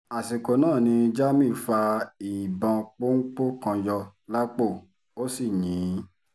àsìkò náà ni jamiu fa ìbọn pọ́ńpọ́ kan yọ lápò ó sì yìn ín